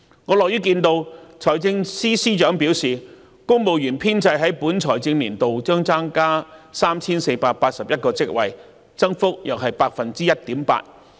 我樂於看到財政司司長表示公務員編制在本財政年度將增加 3,481 個職位，增幅約 1.8%。